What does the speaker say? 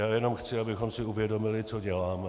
Já jenom chci, abychom si uvědomili, co děláme.